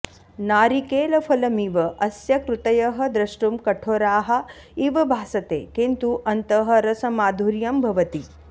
नारिकेलफलमिव अस्य कृतयः दृष्टुं कठोराः इव भासते किन्तु अन्तः रसमाधुर्यं भवति